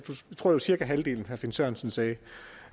jeg tror det var cirka halvdelen herre finn sørensen sagde det